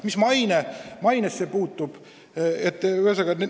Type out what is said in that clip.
Mis mainesse puutub, siis ...